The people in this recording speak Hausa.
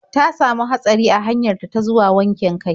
Ta samu hatsari a hanyar ta zuwa wankin kai.